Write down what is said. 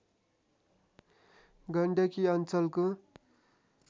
गण्डकी अञ्चलको